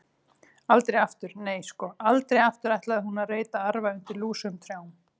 Aldrei aftur, nei, sko, aldrei aftur ætlaði hún að reyta arfa undir lúsugum trjám.